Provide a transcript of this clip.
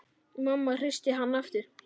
Mamma hristi hann aftur.